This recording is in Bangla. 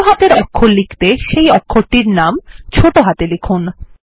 ছোট হাতের অক্ষর লিখতে সেই অক্ষরটির নাম ছোট হাতে লিখুন